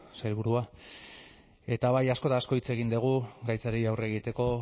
sailburua eta bai asko eta asko hitz egin dugu gaitzari aurre egiteko